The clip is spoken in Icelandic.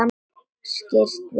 Skirrst við að sjá.